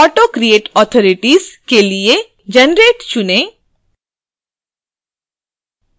autocreateauthorities के लिए generate चुनें